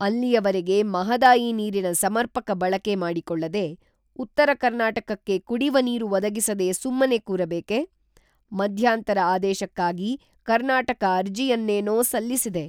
ಅಲ್ಲಿಯವರೆಗೆ ಮಹದಾಯಿ ನೀರಿನ ಸಮರ್ಪಕ ಬಳಕೆ ಮಾಡಿಕೊಳ್ಳದೆ, ಉತ್ತರ ಕರ್ನಾಟಕಕ್ಕೆ ಕುಡಿವ ನೀರು ಒದಗಿಸದೆ ಸುಮ್ಮನೆ ಕೂರಬೇಕೆ? ಮಧ್ಯಾಂತರ ಆದೇಶಕ್ಕಾಗಿ ಕರ್ನಾಟಕ ಅರ್ಜಿಯನ್ನೇನೋ ಸಲ್ಲಿಸಿದೆ.